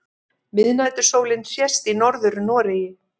Miðnætursólin sést í Norður-Noregi.